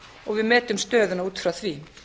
og við metum stöðuna út frá því